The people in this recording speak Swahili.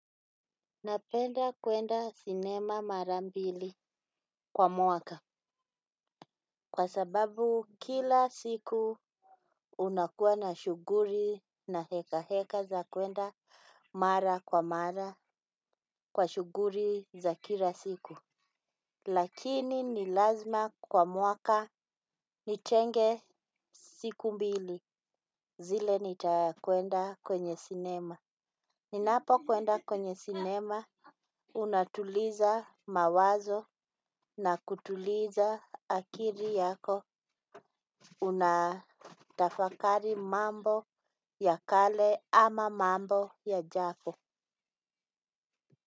Napenda kwenda sinema mara mbili kwa mwaka. Kwa sababu kila siku unakuwa na shuguli na heka heka za kwenda mara kwa mara kwa shuguli za kila siku. Lakini ni lazima kwa mwaka nitenge siku mbili zile nitakwenda kwenye sinema. Ninapo kwenda kwenye sinema unatuliza mawazo na kutuliza akili yako. Unatafakari mambo ya kale ama mambo yajapo.